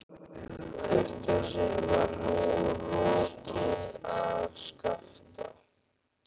Kurteisin var nú rokin af Skapta.